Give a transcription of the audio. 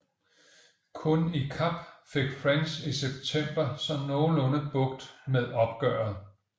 Kun i Kap fik French i september så nogenlunde bugt med oprøret